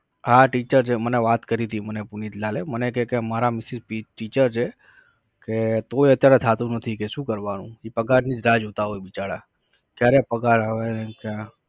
હા teacher છે. મને વાત કરી તી મને પુનિતલાલએ અમને કે કે મારા mrs teacher છે કે તોઈ અત્યારે થાતું નથી કે શું કરવાનું ઇ પગારની જ રાહ જોતાં હોય બિચારા. ક્યારે પગાર આવે કે